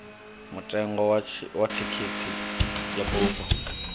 mutengo wa thikhithi ya bufho